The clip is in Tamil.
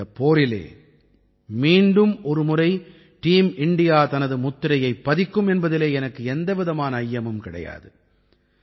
இந்தப் போரிலே மீண்டும் ஒருமுறை டீம் இண்டியா தனது முத்திரையைப் பதிக்கும் என்பதிலே எனக்கு எந்தவிதமான ஐயமும் கிடையாது